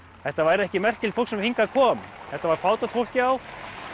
þetta væri ekki merkilegt fólk sem hingað kom þetta var fátækt fólk já